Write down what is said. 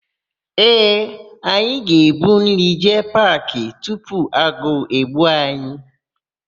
Ee, anyị ga-ebu nri jee paakị tupu agụụ egbuo anyị.